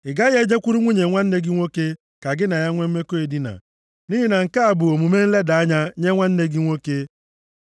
“ ‘Ị gaghị e jekwuru nwunye nwanne gị nwoke ka gị na ya nwe mmekọ edina, nʼihi na nke a bụ omume nleda anya nye nwanne gị nwoke.